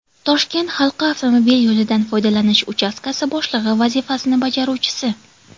Toshkent halqa avtomobil yo‘lidan foydalanish uchastkasi boshlig‘i vazifasini bajaruvchisi.